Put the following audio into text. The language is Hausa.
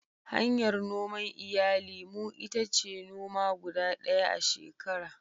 Hanyar noman iyali mu ita ce noma guda ɗaya a shekara.